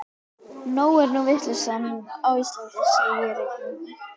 Nóg er nú vitleysan á Íslandi, segir einhver, og